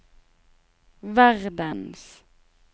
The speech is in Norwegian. verdens